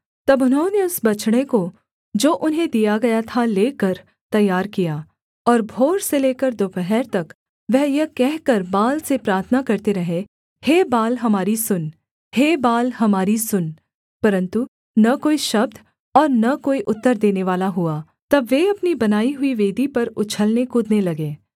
तब उन्होंने उस बछड़े को जो उन्हें दिया गया था लेकर तैयार किया और भोर से लेकर दोपहर तक वह यह कहकर बाल से प्रार्थना करते रहे हे बाल हमारी सुन हे बाल हमारी सुन परन्तु न कोई शब्द और न कोई उत्तर देनेवाला हुआ तब वे अपनी बनाई हुई वेदी पर उछलने कूदने लगे